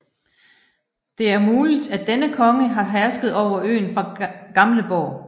Det er muligt at denne konge har hersket over øen fra Gamleborg